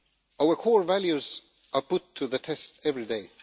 Our core values are put to the test every day.